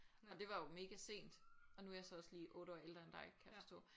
Og det var jo mega sent og nu er jeg så også lige 8 år ældre end dig kan jeg forstå